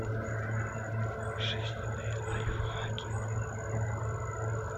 жизненные лайфхаки